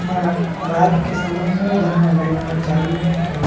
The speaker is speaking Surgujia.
यहाँ रात के समय हे जहाँ लाइट मन चालू हये अउ --